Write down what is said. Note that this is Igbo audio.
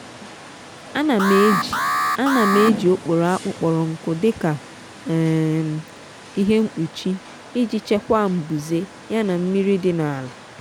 ana m eji ana m eji okporo akpu kpọrọ nkụ dika um ihe nkpụchi iji chekwaa mbuze yana mmiri di n’ala.